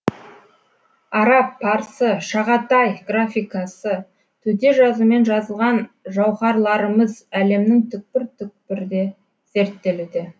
араб парсы шағатай графикасы төте жазумен жазылған жауһарларымыз әлемнің түкпір түкпірде зерттелуде